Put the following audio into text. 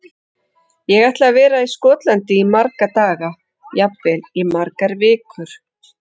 Ég ætla að vera í Skotlandi í marga daga, jafnvel í margar vikur.